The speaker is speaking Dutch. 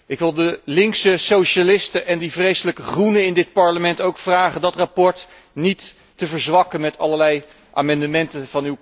Ik wil de linkse socialisten en die vreselijke Groenen in dit Parlement vragen dit verslag niet te af te zwakken met allerlei amendementen.